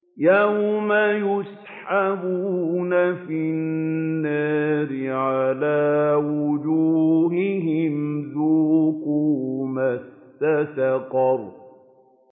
يَوْمَ يُسْحَبُونَ فِي النَّارِ عَلَىٰ وُجُوهِهِمْ ذُوقُوا مَسَّ سَقَرَ